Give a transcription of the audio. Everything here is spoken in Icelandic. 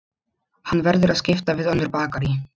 Hann verður að skipta við önnur bakarí.